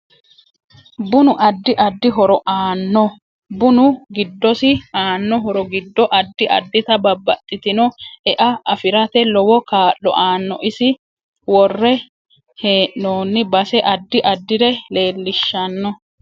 Bunu addi addi horo aannno bunu giddosi aanno horo giddo addi addita babbaxitino e'a afirate lowo kaa'lo aanno isi worre heenooni base addi addire leelishanno